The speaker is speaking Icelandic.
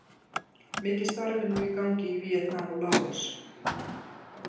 Mikið starf er nú í gangi í Víetnam og Laos.